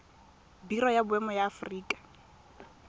biro ya boemo ya aforika